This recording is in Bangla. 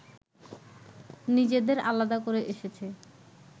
নিজেদের আলাদা করে এসেছে